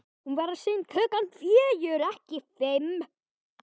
Hún verður sýnd klukkan fjögur, ekki fimm.